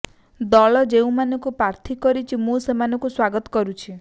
ଦଳ ଯେଉଁମାନଙ୍କୁ ପ୍ରାର୍ଥୀ କରିଛି ମୁଁ ସେମାନଙ୍କୁ ସ୍ବାଗତ କରୁଛି